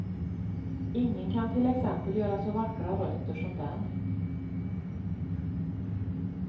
Ingen kan till exempel göra så vackra rötter som den.